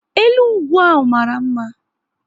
Elu ugwu ahụ mara mma